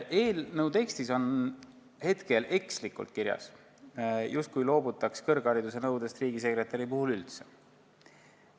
Eelnõu tekstis on hetkel ekslikult kirjas, justkui loobutaks kõrghariduse nõudest riigisekretäri puhul üldse.